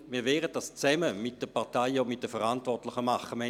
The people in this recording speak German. Wir werden dies zusammen mit den Parteien und den Verantwortlichen tun.